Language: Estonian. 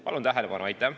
Palun tähelepanu!